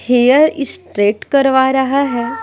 Hair straight करवा रहा है।